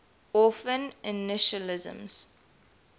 orphan initialisms